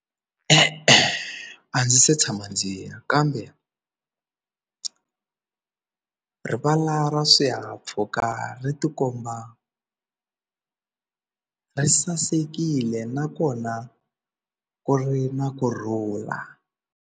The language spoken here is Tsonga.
E-e, a ndzi se tshama ndzi ya kambe rivala ra swihahampfhuka ri tikomba ri sasekile nakona ku ri na kurhula.